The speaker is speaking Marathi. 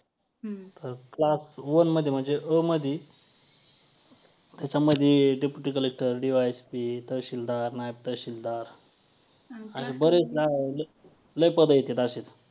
तर class one मध्ये म्हणजे अ मध्ये त्याच्यामध्ये deputy collectorDy. Sp तहसीलदार नायब तहसीलदार असे बरेच लई पदं येत्यात असे.